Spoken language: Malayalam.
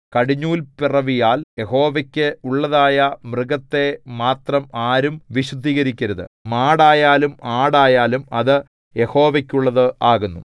കടിഞ്ഞൂൽപിറവിയാൽ യഹോവയ്ക്കു ഉള്ളതായ മൃഗത്തെ മാത്രം ആരും വിശുദ്ധീകരിക്കരുത് മാടായാലും ആടായാലും അത് യഹോവയ്ക്കുള്ളത് ആകുന്നു